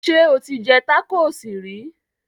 Sẹ́ o ti jẹ tákóòsì rí?